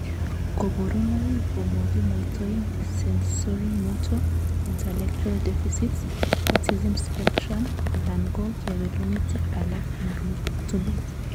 Koborunoik komokimwoitoen sensorimotor, intellectual deficits, autism spectrum alan ko kewelutik alak en rutunet.